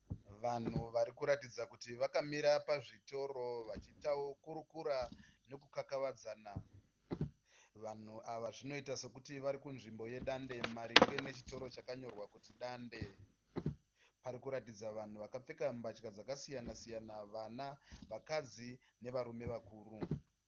Vanhu varikuratidza kuti vakamira pazvitoro vachikurukura nekukakavadzana. Vanhu ava zvinoita sekuti varikupanzvimbo yedande maringe nechitoro chakanyorwa kuti dande. Parikuratidza vanhu vakapfeka zvakasiyana-siyana, vakadzi, vana nevarume vakuru.